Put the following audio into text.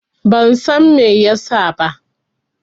Ban San Mai ya sa ba.